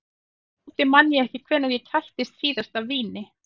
Aftur á móti man ég ekki hvenær ég kættist síðast af víni.